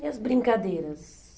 E as brincadeiras?